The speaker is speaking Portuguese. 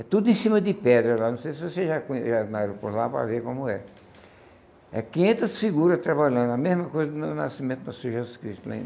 É tudo em cima de pedra lá, não sei se você já con já na aeroporto lá, para ver como é. É quinhentas figuras trabalhando, a mesma coisa no nascimento do nosso Jesus Cristo,